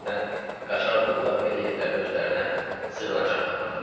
Adətən qaçaq qullar belə yerlərdə özlərinə sığınacaq tapırdılar.